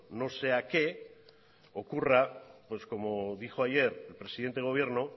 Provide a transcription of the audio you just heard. no sea que ocurra pues como dijo ayer el presidente del gobierno